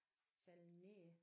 Faldet ned